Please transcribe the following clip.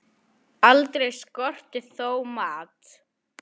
Aldrei skorti þó mat.